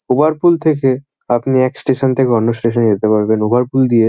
Over পুল থেকে আপনি এক স্টেশন থেকে অন্য স্টেশন -এ যেতে পারবেন। ওভার পুল দিয়ে --